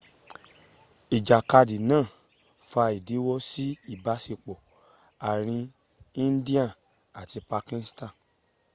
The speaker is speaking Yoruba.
ijakadi naa fa idinwo si ibasepo aarin india ati pakistan